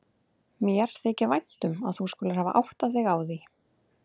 Mér þykir vænt um að þú skulir hafir áttað þig á því.